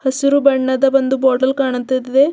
ಹಸಿರು ಬಣ್ಣದ ಒಂದು ಬಾಟಲ್ ಕಾಣುತ್ತದೆ.